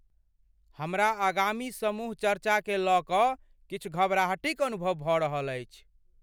हमरा आगामी समूह चर्चाकेँ लऽ कऽ किछु घबराहटिक अनुभव भऽ रहल छी।